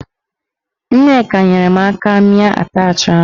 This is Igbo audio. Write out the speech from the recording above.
Nneka nyere m aka mịa atachị ahụ.